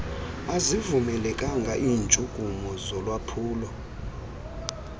azivumelekanga iintshukumo zolwaphulo